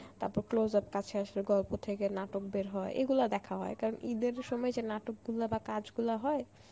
তারপর close-up কাছে আসার গল্প থেকে নাটক বের হয় এগুলা দেখা হয় কারণ ঈদের সময় যে নাটক গুলা বা কাজগুলা হয়